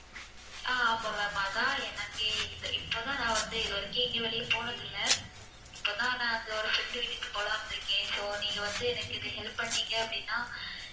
ஆஹ் ஆமா ma'am அதான் எனக்கே இப்~ இப்பதான் நான் வந்து இதுவரைக்கும் எங்கயும் வெளிய போனது இல்ல இப்பதான் நான் அங்க ஒரு friend வீட்டுக்கு போலாம்னு இருக்கேன் so நீங்க வந்து எனக்கு இது help பண்ணீங்க அப்படின்னா